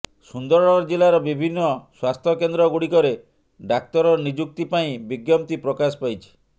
ସୁନ୍ଦରଗଡ଼ ଜିଲ୍ଲାର ବିଭିନ୍ନ ସ୍ବାସ୍ଥ୍ୟକେନ୍ଦ୍ରଗୁଡ଼ିକରେ ଡାକ୍ତର ନିଯୁକ୍ତି ପାଇଁ ବିଜ୍ଞପ୍ତି ପ୍ରକାଶ ପାଇଛି